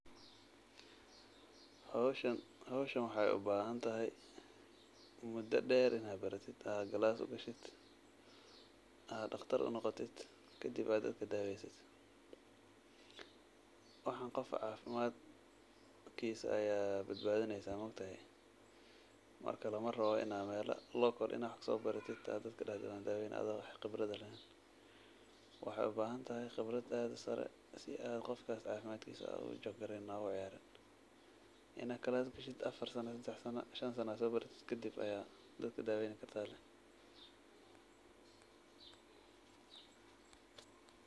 Hooshan waxay u bahanthay, muda deer Ina bariteed, AA class UGA sheet AA daqtar unoqoted kadib AA dadka daweysit waxan qoofka cafimad, kisa Aya badabathinaysah maogtahay marka lamarabo Ina local sobaratid oo dadka kadadicin ado wax qebrada laheen waxay ubahantay qebrat aad u sari si aa qoofkaso Ina calsskasheet sedax sano iyo afaar sano Aya dadaka daweyni kartah .